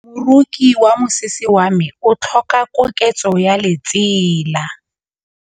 Moroki wa mosese wa me o tlhoka koketsô ya lesela.